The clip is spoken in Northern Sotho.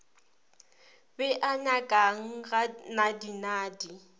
be a nyakang ga nadinadi